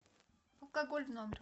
алкоголь в номер